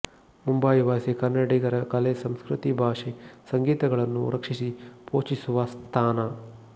ಮುಂಬಯಿವಾಸಿ ಕನ್ನಡಿಗರ ಕಲೆ ಸಂಸ್ಕೃತಿ ಭಾಷೆ ಸಂಗೀತಗಳನ್ನು ರಕ್ಷಿಸಿ ಪೋಷಿಸುವ ಸ್ಥಾನ